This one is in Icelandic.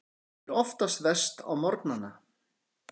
Hún er oftast verst á morgnana.